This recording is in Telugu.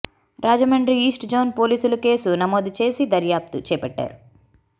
రాజమండ్రి ఈస్ట్ జోన్ పోలీసులు కేసు నమోదు చేసి దర్యాప్తు చేపట్టారు